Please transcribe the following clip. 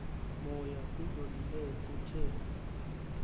moya kuzolile kuthe